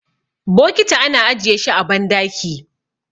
bokiti ana ajiye shi a bandaki